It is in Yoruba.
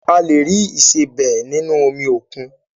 A lè rí ìsebẹ́ nínú omi òkun